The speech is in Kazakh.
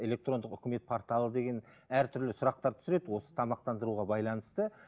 электрондық үкімет порталы деген әртүрлі сұрақтар түсіреді осы тамақтандыруға байланысты